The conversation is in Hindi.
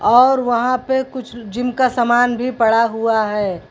और वहां पे कुछ जिम का समान भी पड़ा हुआ है।